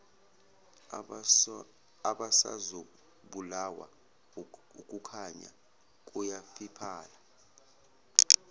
abasazobulawa ukukhanya kuyafiphala